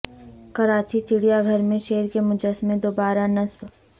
کراچی چڑیا گھر میں شیر کے مجسمے دوبارہ نصب